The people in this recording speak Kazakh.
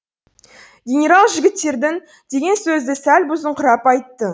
генерал жігіттердің деген сөзді сәл бұзыңқырап айтты